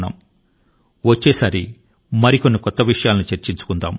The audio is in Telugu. వచ్చే మన్ కీ బాత్ మనసు లో మాట లో మరిన్ని కొత్త విషయాల పై సాగుతుంది